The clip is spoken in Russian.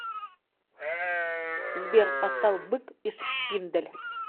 сбер поставь бык и шпиндель